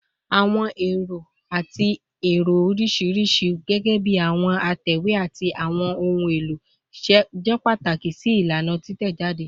Awọn ero ati ẹrọ oriṣiriṣi, gẹgẹbi awọn atẹwe ati awọn ohun elo, jẹ pataki si ilana titẹjade